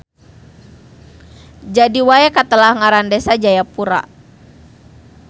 Jadi wae katelah ngaran Desa Jagapura.